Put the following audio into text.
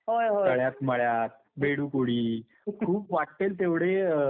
तळ्यात मळ्यात, बेडूक उडी. खूप वाट्टेल तेवढे खेळ होते.